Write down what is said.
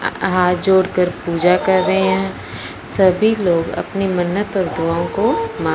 हाथ जोड़कर पूजा कर रहे हैं सभी लोग अपनी मन्नत और दुआओं को मा--